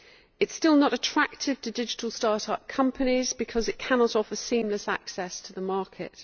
It is still not attractive to digital start up companies because it cannot offer seamless access to the market.